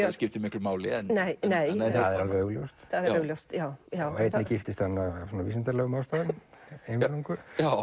það skiptir miklu máli það er alveg augljóst og einni giftist hann af vísindalegum ástæðum eingöngu já